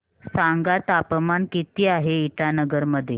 सांगा तापमान किती आहे इटानगर मध्ये